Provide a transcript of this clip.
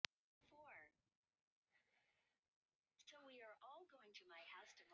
Þeir horfa á eftir fuglinum og undrast hugrekki hans.